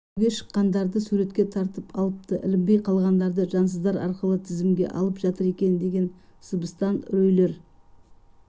шеруге шыққандарды суретке тартып алыпты ілінбей қалғандарды жансыздар арқылы тізімге алып жатыр екен деген сыбыстан үрейлер